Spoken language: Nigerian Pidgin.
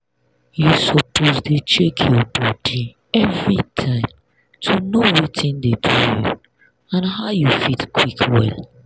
you suppose dey check your body everytime to know watin dey do you and how you fit quick well.